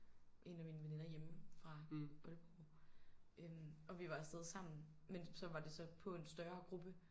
En af mine veninder hjemme fra Aalborg øh og vi var afsted sammen men så var det så på en større gruppe